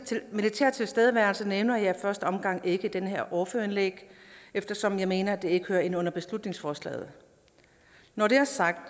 militære tilstedeværelse nævner jeg i første omgang ikke i det her ordførerindlæg eftersom jeg mener at det ikke hører ind under beslutningsforslaget når det er sagt